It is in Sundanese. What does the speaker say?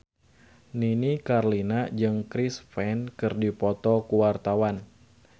Nini Carlina jeung Chris Pane keur dipoto ku wartawan